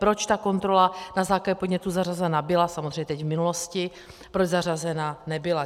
Proč ta kontrola na základě podnětů zařazena byla, samozřejmě teď v minulosti, proč zařazena nebyla.